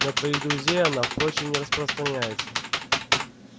на твоих друзей она впрочем не распространяется